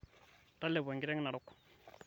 talepo enkiteng narok